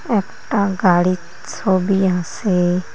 একটা গাড়ির ছবি আসে।